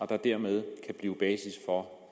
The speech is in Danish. der dermed kan blive basis for